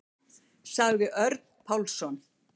Sagði Örn Pálsson.